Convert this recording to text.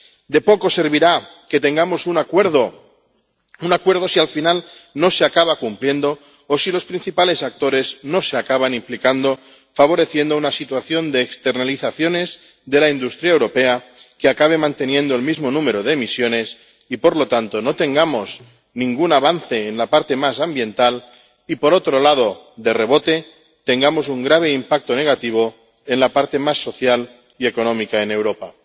De poco servirá que tengamos un acuerdo si, al final, no se acaba cumpliendo o si los principales actores no se acaban implicando, favoreciendo una situación de externalizaciones de la industria europea que acabe manteniendo el mismo número de emisiones y, por lo tanto, no haya ningún avance en la parte ambiental, y por otro lado, de rebote, tengamos un grave impacto negativo en la parte social y económica en Europa.